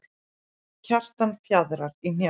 Kjartan fjaðrar í hnjánum.